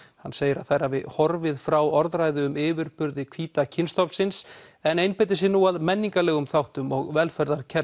hann segir að þær hafi horfið frá orðræðu um yfirburði hvíta kynstofnsins en einbeiti sér nú að menningarlegum þáttum og velferðarkerfum